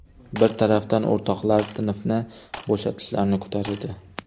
Bir tarafdan o‘rtoqlari sinfni bo‘shatishlarini kutar edi.